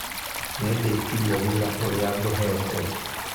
Nĩndĩkirie wĩra ũrĩa ngũheetwo